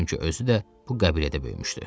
Çünki özü də bu qəbilədə böyümüşdü.